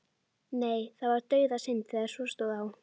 Nei, það var dauðasynd þegar svo stóð á.